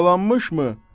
Yaralanmışmı?